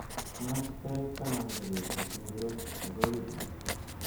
Machi tarik taman ko betit ingiro nebo wikit